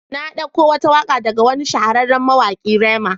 Na dauko wata waka daga wani shahararren mawaki Rema.